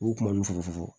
U kuma nun fu